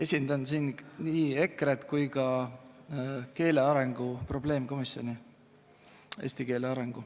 Esindan siin nii EKRE-t kui ka eesti keele õppe arengu probleemkomisjoni.